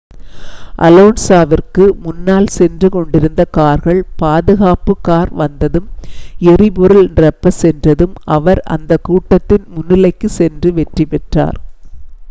அலோன்ஸாவிற்கு முன்னால் சென்று கொண்டிருந்த கார்கள் பாதுகாப்பு கார் வந்ததும் எரிபொருள் நிரப்பச் சென்றதும் அவர் அந்த கூட்டத்தின் முன்னிலைக்குச் சென்று வெற்றி பெற்றார்